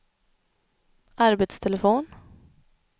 arbetstelefon